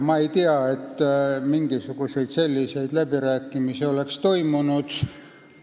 Ma ei tea, et mingisuguseid selliseid läbirääkimisi oleks toimunud.